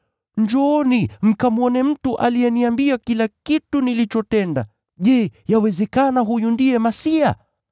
“Njooni mkamwone mtu aliyeniambia kila kitu nilichotenda! Je, yawezekana huyu ndiye Kristo?”